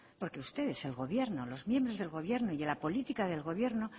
porque ustedes el gobierno los miembros del gobierno y la política del gobierno